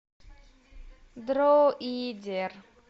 дроидер